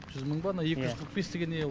жүз мың ба ана екі жүз қырық бес деген не ол